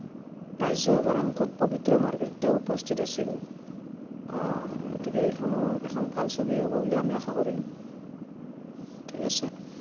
ৰাজ্য়সভাৰ সাংসদ পবিত্ৰ মাৰ্ঘেৰিটাও উপস্থিত আছিল। আহ গতিকে এইখনো এখন ভাল ছবিয়েই হব বুলিয়েই আমি আশা কৰিলো। ঠিক আছে।